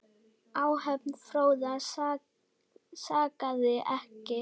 Áhöfn Fróða sakaði ekki.